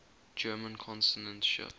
german consonant shift